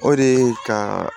O de ye ka